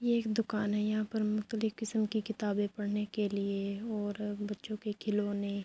یہ ایک دکان ہے یہاں پر مختلف کسم کی کتابے پڑھنے کے لئے اور بچھو کے کھلونے--